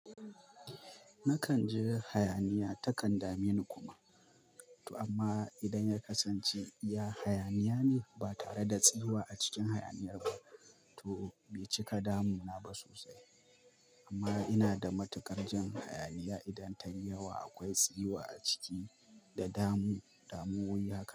Nakan ji hayaniya ta kan dame ni kuma. Amma idan ya kasance iya hayaniya ne ba tare da tsiwa a cikin hayaniyar ba, toh bai cika damu na ba sosai. Amma ina da matuƙar jin hayaniya idan ta yi yawa akwai tsiwa a ciki da damu, damuwowi yaƙa.